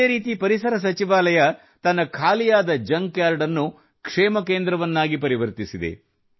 ಇದೇ ರೀತಿ ಪರಿಸರ ಸಚಿವಾಲಯವು ತನ್ನ ಖಾಲಿಯಾದ ಜಂಕ್ ಯಾರ್ಡ್ ಅನ್ನು ಕ್ಷೇಮ ಕೇಂದ್ರವನ್ನಾಗಿ ಪರಿವರ್ತಿಸಿದೆ